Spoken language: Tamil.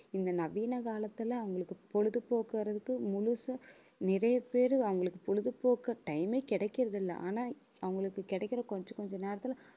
இந்த நவீன காலத்துல அவங்களுக்கு பொழுதுபோக்கு வர்றதுக்கு முழுசா, நிறைய பேரு அவங்களுக்கு பொழுது போக்க time ஏ கிடக்கிறது இல்லை. ஆனா அவங்களுக்கு கிடைக்கிற கொஞ்ச கொஞ்ச நேரத்துல